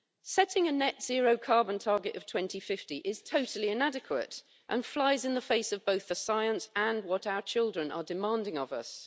Setting a net-zero carbon target of 2050 is totally inadequate and flies in the face of both the science and what our children are demanding of us.